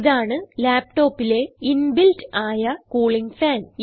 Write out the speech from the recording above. ഇതാണ് laptopലെ ഇൻബിൽറ്റ് ആയ കൂളിങ് ഫാൻ